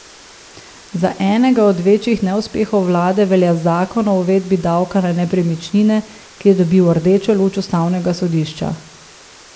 Za enega od večjih neuspehov vlade velja zakon o uvedbi davka na nepremičnine, ki je dobil rdečo luč ustavnega sodišča.